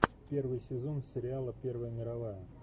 первый сезон сериала первая мировая